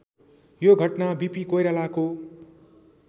यो घटना वीपी कोइरालाको